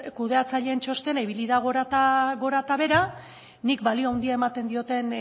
kudeatzaileen txostena ibili da gora eta behera nik balio handia ematen diodan